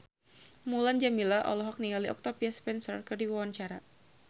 Mulan Jameela olohok ningali Octavia Spencer keur diwawancara